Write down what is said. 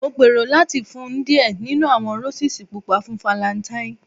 Mo gbero lati fun u diẹ ninu awọn Roses pupa fun Falentaini